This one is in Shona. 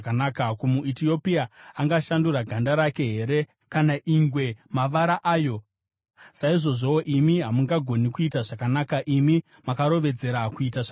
Ko, muEtiopia angashandura ganda rake here, kana ingwe mavara ayo? Saizvozvowo imi hamungagoni kuita zvakanaka, imi makarovedzera kuita zvakaipa.